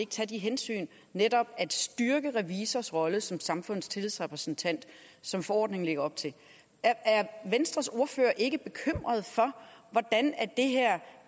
tage det hensyn netop at styrke revisors rolle som samfundets tillidsrepræsentant som forordningen lægger op til er venstres ordfører ikke bekymret for hvordan